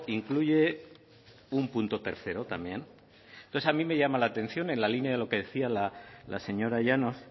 incluye un punto tercero también entonces a mí me llama la atención en la línea de lo que decía la señora llanos